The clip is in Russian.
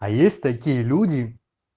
а есть такие люди